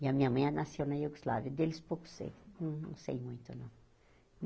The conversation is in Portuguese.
E a minha mãe ela nasceu na Iugoslávia, deles pouco sei, não sei muito não.